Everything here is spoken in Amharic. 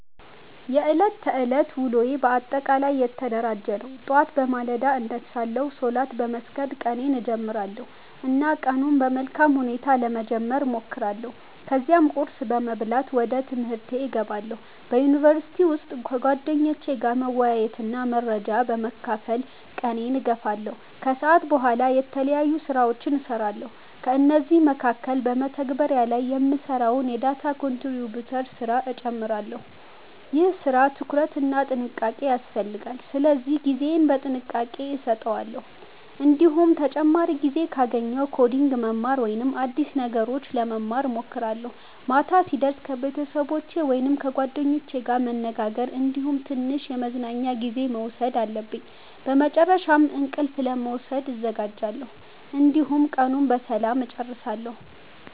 የዕለት ተዕለት ውሎዬ በአጠቃላይ የተደራጀ ነው። ጠዋት በማለዳ እነሳለሁ፣ ሶላት በመስገድ ቀኔን እጀምራለሁ እና ቀኑን በመልካም ሁኔታ ለመጀመር እሞክራለሁ። ከዚያም ቁርስ በመብላት ወደ ትምህርቴ እገባለሁ። በዩኒቨርሲቲ ውስጥ ከጓደኞቼ ጋር መወያየትና መረጃ በመካፈል ቀኔን እገፋለሁ። ከሰዓት በኋላ የተለያዩ ስራዎችን እሰራለሁ፤ ከእነዚህ መካከል በመተግበሪያ ላይ የምሰራውን የdata contributor ስራ እጨምራለሁ። ይህ ስራ ትኩረት እና ጥንቃቄ ይፈልጋል ስለዚህ ጊዜዬን በጥንቃቄ አሰተዋለሁ። እንዲሁም ተጨማሪ ጊዜ ካገኘሁ ኮዲንግ ማማር ወይም አዲስ ነገሮች ለመማር እሞክራለሁ። ማታ ሲደርስ ከቤተሰቦቸ ወይም ከጓደኞቼ ጋር መነጋገር እንዲሁም ትንሽ የመዝናኛ ጊዜ መውሰድ አለብኝ። በመጨረሻም እንቅልፍ ለመውሰድ እዘጋጃለሁ፣ እንዲሁም ቀኑን በሰላም እጨርሳለሁ።